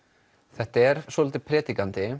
þetta er svolítið